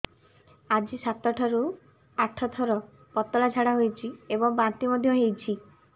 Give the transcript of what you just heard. ଆଜି ସାତରୁ ଆଠ ଥର ପତଳା ଝାଡ଼ା ହୋଇଛି ଏବଂ ବାନ୍ତି ମଧ୍ୟ ହେଇଛି